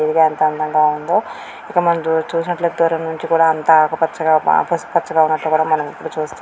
ఎంత అందంగా ఉందో ఇక్కడ మనం చూసినట్లయితే దూరం నుంచి కూడా అంత ఆకుపచ్చగా పసుపు పచ్చగా ఉన్నట్టు కూడా మనం ఇక్కడ --చూస్త.